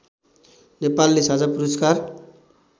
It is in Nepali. नेपालले साझा पुरस्कार